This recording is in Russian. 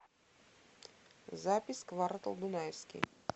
запись квартал дунаевский